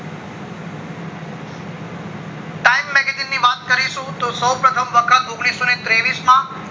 time magazine ની વાત કરીશું તો સૌ પ્રથમ વખત ઓગણીસો ને ત્રેવીસ માં